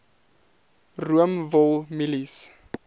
room wol mielies